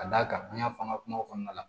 Ka d'a kan an y'a fɔ an ka kuma kɔnɔna la